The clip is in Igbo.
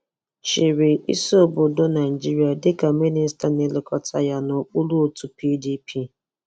Chị́rị́ ísí obodo Naịjirịa dịka Mịnịsta na-elekọta ya n'okpuru òtù PDP.